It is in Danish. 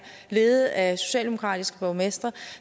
ledet af socialdemokratiske borgmestre